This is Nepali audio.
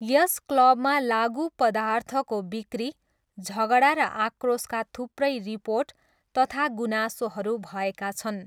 यस क्लबमा लागुपदार्थको बिक्री, झगडा र आक्रोशका थुप्रै रिपोर्ट तथा गुनासोहरू भएका छन्।